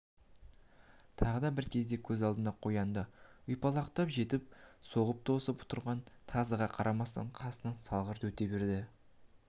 тағы бір кезде көз алдында қоянды ұйпалақтап жетіп соғып тосып тұрған тазыға қарамастан қасынан салғырт өте береді